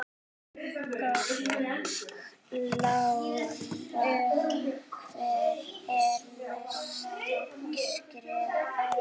Lára: Hver eru næstu skerf?